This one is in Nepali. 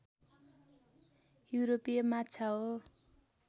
युरोपीय माछा हो